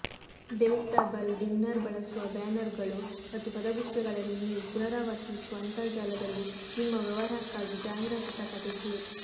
delectable dinner ಬಳಸುವ ಬ್ಯಾನರ್ಗಳು ಮತ್ತು ಪದಗುಚ್ಛಗಳನ್ನು ನೀವು ಪುನರಾವರ್ತಿಸುವ ಅಂತರ್ಜಾಲದಲ್ಲಿ ನಿಮ್ಮ ವ್ಯವಹಾರಕ್ಕಾಗಿ ಜಾಹೀರಾತು ಪ್ರಕಟಿಸಿ